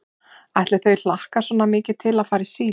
Ætli þau hlakki svona mikið til að fara í síld.